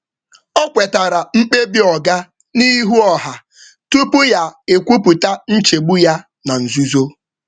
Ọ kwetara mkpebi oga kwetara mkpebi oga n’ihu ọha tupu ya ekwupụta nchegbu ya na nzuzo.